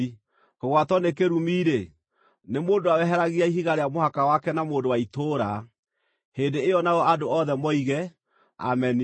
“Kũgwatwo nĩ kĩrumi-rĩ, nĩ mũndũ ũrĩa weheragia ihiga rĩa mũhaka wake na mũndũ wa itũũra.” Hĩndĩ ĩyo nao andũ othe moige, “Ameni!”